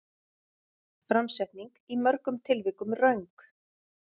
Framsetning í mörgum tilvikum röng